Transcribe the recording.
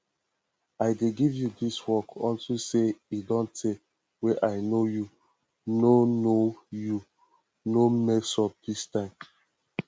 i dey give you dis work unto say e don tey wey i know you no know you no mess up dis time